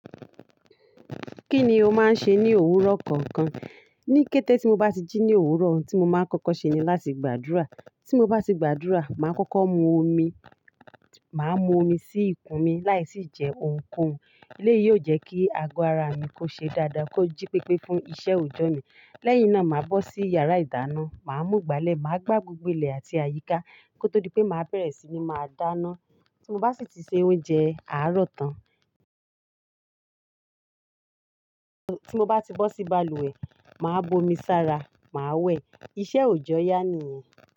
Kíni ó máa ń ṣe ní òwúrọ̀ kankan? Ní kété tí mo bá ti jí ní òwúrọ̀, ohun tí mo máa ń kọ́kọ́ ṣe ni láti gbàdúrà. Tí mo bá ti gbàdúrà, màá kọ́kọ́ mu omi. Màá mu omi sí ikùn mi láì tí jẹ ohunkóhun. Eléyìí yóò jẹ́ kí agọ ara mi kó ṣe dáadáa, kó jí pépé fún iṣẹ́ òòjọ́ mi. Lẹ́yìn náà, màá bọ́ sí yàrá ìdáná, màá mú ìgbálẹ̀, màá gbà gbogbo ilẹ àti àyíká kó tó di pé màá bẹ̀rẹ̀ sí ní máa dáná. Tí mo bá sì ti se oúnjẹ, àárọ̀ tán. Tí mo bá ti bọ́ sí balùwẹ̀, màá bomi sára, màá wẹ̀. Iṣẹ́ òòjọ́ yá ni nu o.